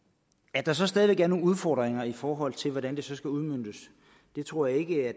at der så stadig væk er nogle udfordringer i forhold til hvordan det skal udmøntes tror jeg ikke